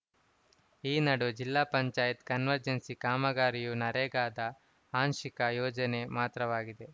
ಈ ನಡುವೆ ಜಿಲ್ಲಾಪಂಚಾಯ್ತ್ ಕನ್ವರ್ಜೆನ್ಸ್‌ ಕಾಮಗಾರಿಯು ನರೇಗಾದ ಆಂಶಿಕ ಯೋಜನೆ ಮಾತ್ರವಾಗಿದೆ